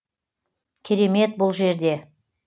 керемет бұл жерде